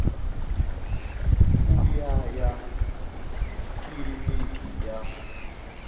u ya ya kiliniki ya